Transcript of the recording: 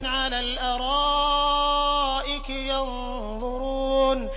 عَلَى الْأَرَائِكِ يَنظُرُونَ